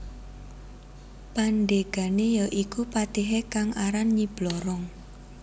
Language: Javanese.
Pandegane ya iku patihe kang aran Nyi Blorong